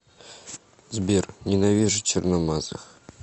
сбер ненавижу черномазых